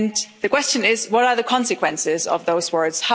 The question is, what are the consequences of those words?